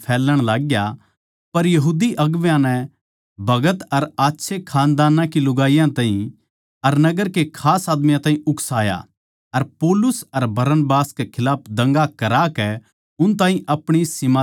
पर यहूदी अगुवां नै भगत अर आच्छे खानदान की लुगाईयां ताहीं अर नगर के खास आदमियाँ ताहीं उकसाया अर पौलुस अर बरनबास कै खिलाफ दंगा करा कै उन ताहीं अपणी सीम तै लिकाड़ दिया